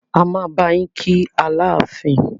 A máa bá yín kí Aláàfin.